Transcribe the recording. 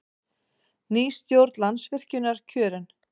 Ný stjórn Landsvirkjunar kjörin